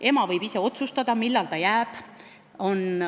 Ema võib ise otsustada, millal ta koju jääb.